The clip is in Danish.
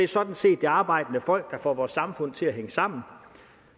sådan set det arbejdende folk der får vores samfund til at hænge sammen